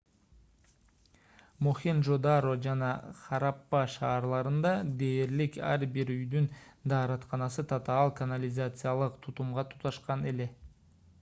мохенжо-даро жана хараппа шаарларында дээрлик ар бир үйдүн дааратканасы татаал канализациялык тутумга туташкан эле